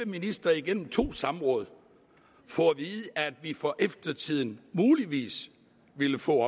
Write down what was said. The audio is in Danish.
ministre igennem to samråd få at vide at vi for eftertiden muligvis ville få